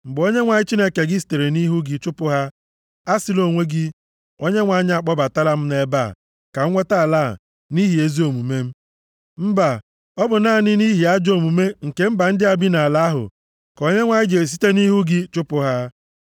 Mgbe Onyenwe anyị Chineke gị sitere nʼihu gị chụpụ ha, asịla onwe gị, “ Onyenwe anyị akpọbatala m nʼebe a, ka m nweta ala a nʼihi ezi omume m.” Mba, ọ bụ naanị nʼihi ajọ omume nke mba ndị a bi nʼala ahụ ka Onyenwe anyị ji esite nʼihu gị chụpụ ha.